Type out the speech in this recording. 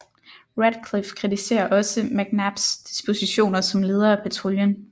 Radcliffe kritiserer også McNabs dispositioner som leder af patruljen